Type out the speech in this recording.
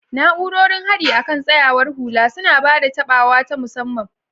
Na'urorin haɗi akan tsayawar hula suna ba da taɓawa ta musamman.